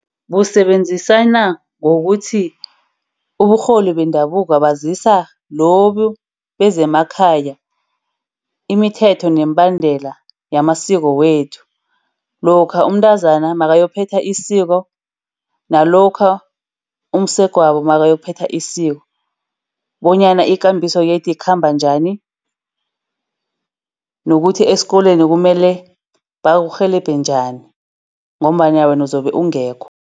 Busebenzisana ngokuthi uburholi bendabuko bazisa lobu bezemakhaya imithetho nemibandela yamasiko wethu. Lokha umntazana makayokuphetha isiko, nalokha umsegwabo makayokuphetha isiko bonyana ikambiso yethu ikhamba njani. Nokuthi esikolweni kumele bakurhelebhe njani ngombana wena uzobe ungekho.